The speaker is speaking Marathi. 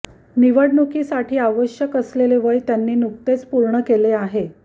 निवडणुकीसाठी आवश्यक असलेले वय त्यांनी नुकतेच पूर्ण केले आहे